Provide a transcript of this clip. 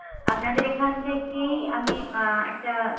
আপনাদের এখন থেকেই আমি একটা